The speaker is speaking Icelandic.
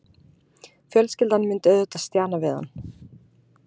Fjölskyldan myndi auðvitað stjana við hann.